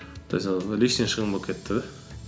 то есть анау лишний шығын болып кетті де